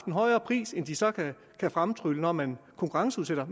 højere pris end de så kan fremtrylle når man konkurrenceudsætter